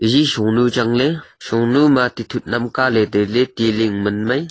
eje shonu changley shonu ma tithut namkaley tailey ti ling man mai.